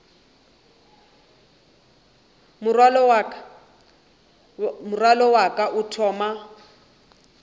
morwalo wa ka o thoma